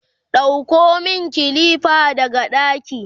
ɗauko min kilifa daga ɗaki!